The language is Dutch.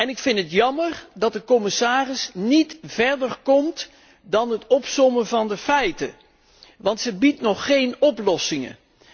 Ik vind het jammer dat de commissaris niet verder komt dan het opsommen van de feiten want ze biedt nog geen oplossingen.